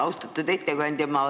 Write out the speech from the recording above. Austatud ettekandja!